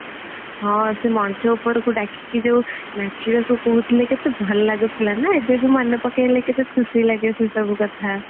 ହଁ ସେ ମଞ୍ଚ ଉପରକୁ ଡାକିକି ଯୋଉ ନାଚିବାକୁ କହୁଥିଲେ କେତେ ଭଲ ଭଲ ଲାଗୁଥିଲା ନା ଏବେବି ମନେ ପକେଇଲେ କେତେ ଖୁସି ଲାଗେ ସେସବୁ କଥା